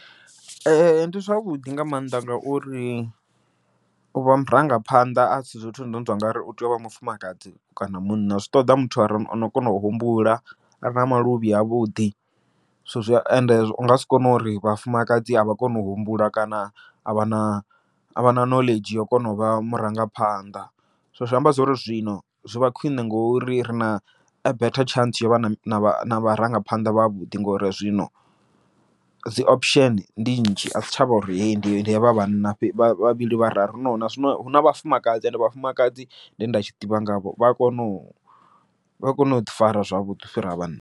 ndi zwavhuḓi nga maanḓa ngauri u vha murangaphanḓa asi zwithu zwine utou ngari u tea u vha mufumakadzi kana munna, zwi ṱoḓa muthu are ono kona u humbula are na maluvhi a vhuḓi, so zwi ende u nga si kone uri vhafumakadzi a vha koni u humbula kana a vha na a vha na knowledge yo kona u vha murangaphanḓa. So zwi amba zwori zwino zwi vha khwiṋe ngori ri na a better chance yovha na vharangaphanḓa vha vhuḓi, ngori zwino dzi option ndi nnzhi adzi tshavha uri heyi ndi ndi havha vhana vhavhili vhararu no nazwino huna, vhafumakadzi ende vhafumakadzi nde nda tshi ḓivha ngavho vha kona u vha kona uḓi fara zwavhuḓi u fhira vhanna.